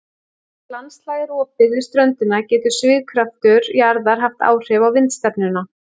Þar sem landslag er opið við ströndina getur svigkraftur jarðar haft áhrif á vindstefnuna.